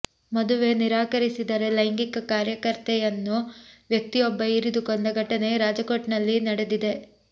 ಮದುವೆ ನಿರಾಕರಿಸಿದ ಲೈಂಗಿಕ ಕಾರ್ಯಕರ್ತೆಯನ್ನು ವ್ಯಕ್ತಿಯೊಬ್ಬ ಇರಿದು ಕೊಂದ ಘಟನೆ ರಾಜಕೋಟ್ನಲ್ಲಿ ನಡೆದಿದೆ